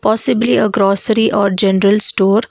possibly a grocery or general store.